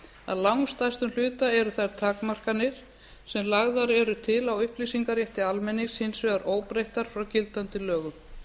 að langstærstum hluta eru þær takmarkanir sem lagðar eru til á upplýsingarétti almennings hins vegar óbreyttar frá gildandi lögum